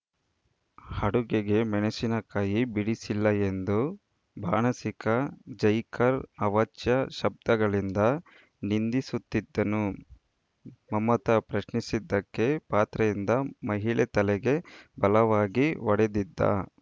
ಅಡುಗೆಗೆ ಮೆಣಸಿನಕಾಯಿ ಬಿಡಿಸಿಲ್ಲ ಎಂದು ಬಾಣಸಿಗ ಜೈಕಾರ್‌ ಅವಾಚ್ಯ ಶಬ್ದಗಳಿಂದ ನಿಂದಿಸುತ್ತಿದ್ದನ್ನು ಮಮತಾ ಪ್ರಶ್ನಿಸಿದ್ದಕ್ಕೆ ಪಾತ್ರೆಯಿಂದ ಮಹಿಳೆ ತಲೆಗೆ ಬಲವಾಗಿ ಹೊಡೆದಿದ್ದ